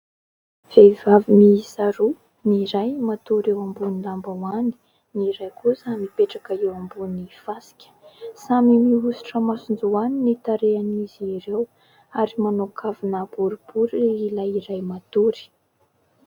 Vehivavy miisa roa : ny iray matory eo ambony lambahoany, ny iray kosa mipetraka eo ambony fasika, samy mihosotra masonjoany ny tarehan'izy ireo ary manao kavina boribory ilay iray matory.